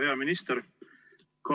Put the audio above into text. Hea minister!